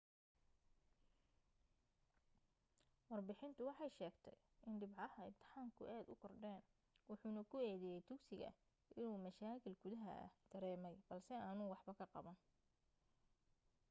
warbixintu waxay sheegtay in dhibcaha imtixaanku aad u kordheen wuxuna ku eedeeyay dugsiga inuu mashaakiil gudaha ah dareemay balse aanu waxba ka qaban